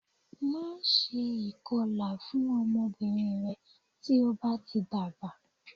Máṣe ìkọlà fún ọmọbìnrin rẹ tí o bá ti dàgbà